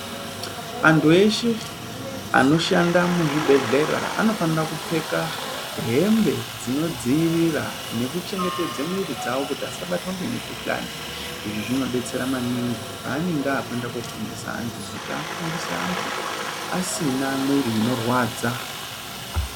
Antu eshe anoshanda muzvibhedhlera anofanira kupfeka hembe dzinodziirira miro dzawo kuti asabatwa ngemikhuhlani izvi zvinodetsera maningi pavanenge akuenda kofundisa antu kuti afundise antu asina mwiri inorwadza.